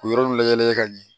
K'u yɔrɔ layɛlen ka ɲɛ